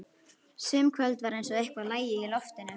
Sum kvöld var eins og eitthvað lægi í loftinu.